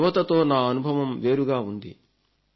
యువతతో నా అనుభవం వేరుగా ఉంది